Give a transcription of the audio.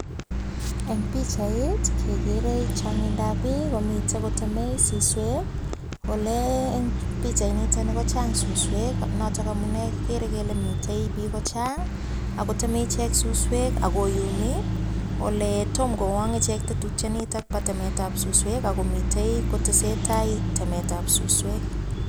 En pichait kegeree chongindap biik, komiten koteme suswek. Ole pichainito ko chang suswek ak noto ko amune kigere kele miten biik kochang ago teme ichek suswek agoyumi, ole tom kowong ichek tetutyonito bo temetab suswek ago mitei kotesetai temetab suswek.